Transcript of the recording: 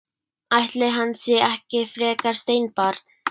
Ætli hann sé ekki frekar steinbarn.